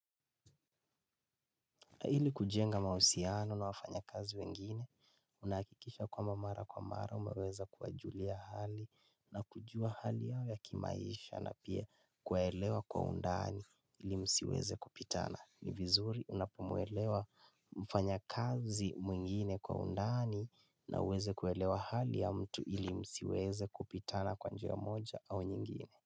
Na ili kujenga mahusiano na wafanyakazi wengine, unahakikisha kwamba mara kwa mara umeweza kuwajulia hali na kujua hali ya kimaisha na pia kuwaelewa kwa undani ili msiweze kupitana. Ni vizuri unapomwelewa mfanya kazi mwingine kwa undani na uweze kuelewa hali ya mtu ili msiweze kupitana kwa njia moja au nyingine.